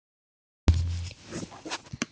Það skýrist þegar nær dregur.